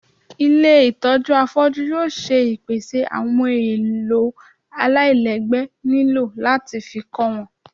ilé itọju afọju yóò ṣe ìpèsè awọn ohún èlò àláilègbé niló latí fí kọ wọn